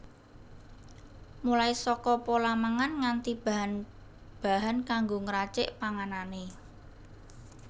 Mulai saka pola mangan nganti bahan bahan kanggo ngracik panganané